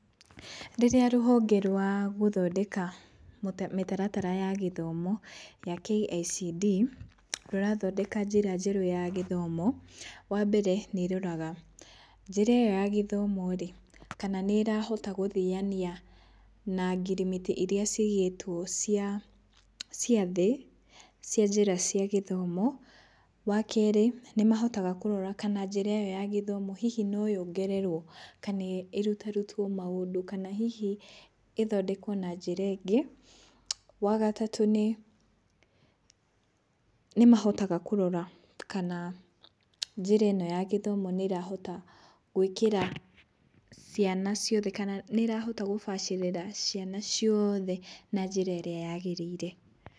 Rĩrĩa rũhonge rwa gũthondeka mĩtaratara ya gĩthomo ya KICD, rũrathondeka njĩra njerũ ya gĩthomo, wa mbere nĩroraga njĩra ĩyo ya gĩthomo-rĩ, kana nĩrahota gũthiania na ngirimiti iria cigĩtwo cia cia thĩ, cia njĩra cia gĩthomo. Wa kerĩ, nĩmahotaga kũrora kana njĩra ĩ yo ya gĩthomo hihi noyongererwo, kana ĩrutarutwo maũndũ, kana hihi ĩthondekwo na njĩra ĩngĩ. Wa gatatũ nĩ, nĩmahotaga kũrora kana njĩra ĩ no ya gĩthomo nĩrahota gwĩkĩra ciana ciothe, kana nĩrahota gũbacĩrĩra ciana ciothe na njĩra ĩrĩa yagĩrĩire.